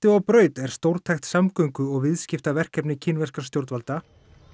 og braut er stórtækt samgöngu og viðskiptaverkefni kínverskra stjórnvalda